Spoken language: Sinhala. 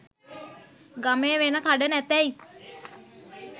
ගමේ වෙන කඩ නැතැයි